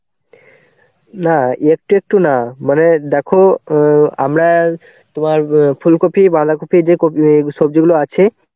না একটু একটু না, মানে দেখো অ্যাঁ আমরা তোমার অ্যাঁ ফুলকপি, বাঁধাকপির যে কপি~ সবজিগুলো আছে.